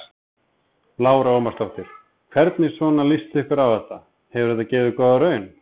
Lára Ómarsdóttir: Hvernig svona líst ykkur á þetta, hefur þetta gefið góða raun?